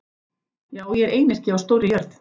Já, ég er einyrki á stórri jörð.